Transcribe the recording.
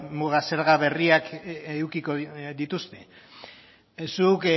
muga zerga berriak edukiko dituzte zuk